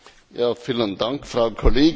Vielen Dank, Frau Kollegin!